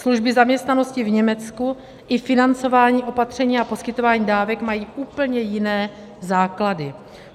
Služby zaměstnanosti v Německu i financování opatření a poskytování dávek mají úplně jiné základy.